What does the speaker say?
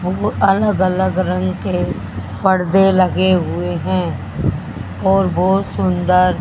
वो अलग-अलग रंग के पर्दे लगे हुए हैं और बहोत सुंदर --